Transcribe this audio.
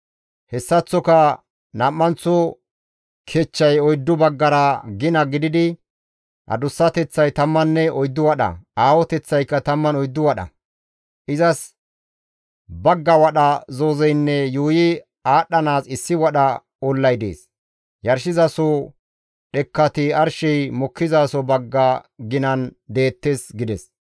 Hessaththoka nam7anththo kechchay oyddu baggara gina gididi adussateththay 14 wadha, aahoteththaykka 14 wadha. Izas bagga wadha zoozeynne yuuyi aadhdhanaas issi wadha ollay dees; yarshizasoza dhekkati arshey mokkizaso bagga ginan deettes» gides.